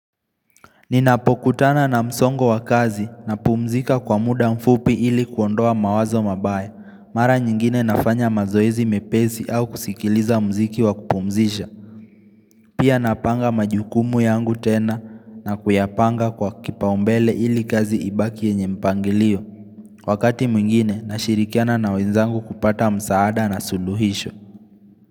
Ninapokutana na msongo wa kazi napumzika kwa muda mfupi ili kuondoa mawazo mabaya Mara nyingine nafanya mazoezi mepezi au kusikiliza mziki wa kupumzisha Pia napanga majukumu yangu tena na kuyapanga kwa kipaumbele ili kazi ibaki yenye mpangilio Wakati mwingine nashirikiana na wenzangu kupata msaada na suluhisho.